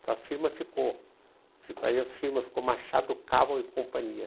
Então a firma ficou, aí a firma ficou Machado Caval e Companhia.